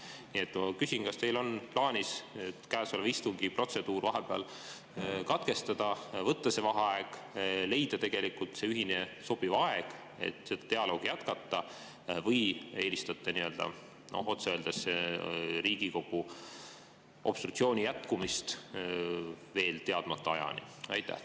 Nii et ma küsin: kas teil on plaanis käesoleva istungi protseduur vahepeal katkestada, võtta vaheaeg, leida ühine sobiv aeg, et seda dialoogi jätkata, või eelistate otse öeldes Riigikogu obstruktsiooni jätkumist veel teadmata ajani?